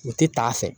U tɛ taa a fɛ